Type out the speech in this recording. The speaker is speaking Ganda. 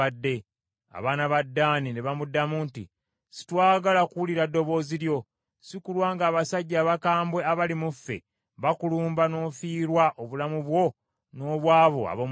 Abaana ba Ddaani ne bamuddamu nti, “Sitwagala kuwulira ddoboozi lyo, si kulwa ng’abasajja abakambwe abali mu ffe bakulumba n’ofiirwa obulamu bwo n’obw’abo ab’omu nnyumba yo.”